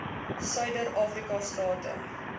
suider afrika state